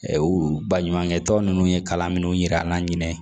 Ɛ u baɲumankɛ tɔn ninnu ye kalan minnu yira an na